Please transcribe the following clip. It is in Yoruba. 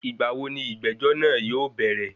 Ìgbàwo ní ìgbẹ́jọ́ náà yóò bẹ̀rẹ̀?